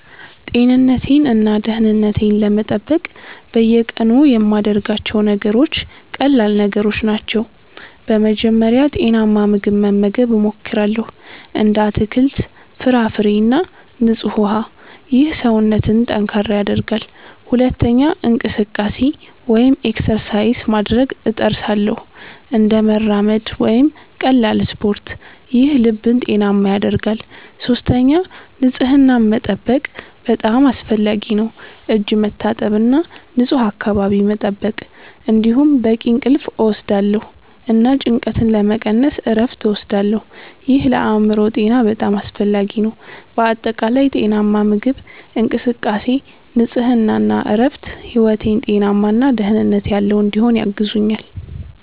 ጤንነቴን እና ደህንነቴን ለመጠበቅ በየቀኑ የምያደርጋቸው ነገሮች ቀላል ነገሮች ናቸው። በመጀመሪያ ጤናማ ምግብ መመገብ እሞክራለሁ፣ እንደ አትክልት፣ ፍራፍሬ እና ንጹህ ውሃ። ይህ ሰውነትን ጠንካራ ያደርጋል። ሁለተኛ እንቅስቃሴ (exercise) ማድረግ እጥርሳለሁ፣ እንደ መራመድ ወይም ቀላል ስፖርት። ይህ ልብን ጤናማ ያደርጋል። ሶስተኛ ንጽህናን መጠበቅ በጣም አስፈላጊ ነው፣ እጅ መታጠብ እና ንፁህ አካባቢ መጠበቅ። እንዲሁም በቂ እንቅልፍ እወስዳለሁ እና ጭንቀትን ለመቀነስ እረፍት እወስዳለሁ። ይህ ለአእምሮ ጤና በጣም አስፈላጊ ነው። በአጠቃላይ ጤናማ ምግብ፣ እንቅስቃሴ፣ ንጽህና እና እረፍት ሕይወቴን ጤናማ እና ደህንነት ያለው እንዲሆን ያግዙኛል